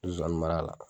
Zonzani mara la